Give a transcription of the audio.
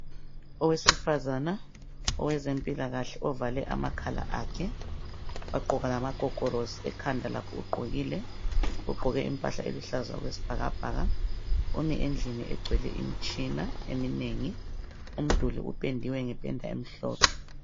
Uwosifazana owezempilakahle ovale amakhala akhe, wagqoka lamagogorosi, ekhanda lakho ugqokile. Ugqoke impahla eluhlaza okwesbhakabhaka. Umi endlini egcwele imtshina eminenginengi. Umduli upendiwe ngependa emhlophe.